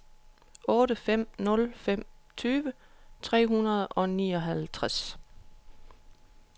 otte fem nul fem tyve tre hundrede og nioghalvtreds